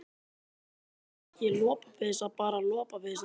En er ekki lopapeysa bara lopapeysa?